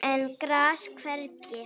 en gras hvergi